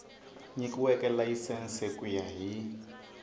nyikiweke layisense ku ya hi